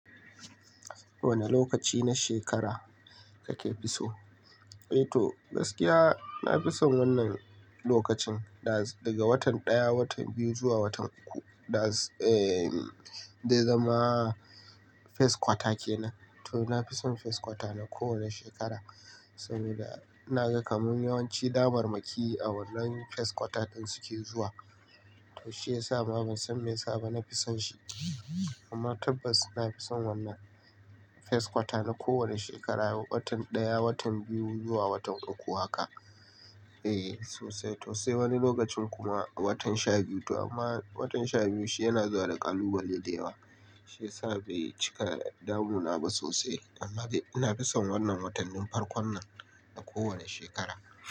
Wane lokaci na shekara kake fi so? Eh to gaskiya na fi son wannan lokacin daga watan ɗaya, watan biyu zuwa watan uku da zai zama first quarter kenan. To na fi son first quarter na kowane shekara saboda na ga kaman yawanci damarmaki a wannan first quarter ɗin suke zuwa. To shi ya sa ma ban san me ya sa ba na fi son shi amma tabbas na fi son wannan first quarter na kowane shekara watan ɗaya, watan biyu zuwa watan uku haka. Eh sosai to sai wani lokacin kuma a watan shabiyu amma watan shabiyu shi yana zuwa da ƙalubale da yawa shi ya sa bai cika damuna ba sosai amma na fi son wannan watannin farkon nan na kowane shekara.